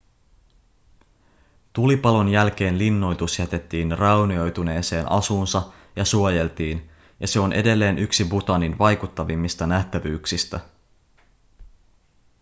tulipalon jälkeen linnoitus jätettiin raunioituneeseen asuunsa ja suojeltiin ja se on edelleen yksi bhutanin vaikuttavimmista nähtävyyksistä